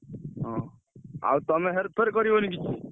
ହଁ ଆଉତମେ ହେର ଫେର କରିବନି କିଛି।